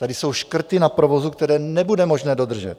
Tady jsou škrty na provozu, které nebude možné dodržet.